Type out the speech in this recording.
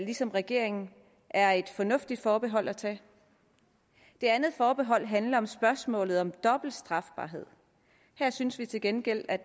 ligesom regeringen er et fornuftigt forbehold at tage det andet forbehold handler om spørgsmålet om dobbelt strafbarhed her synes vi til gengæld at